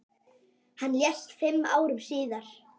Hann lést fimm árum síðar.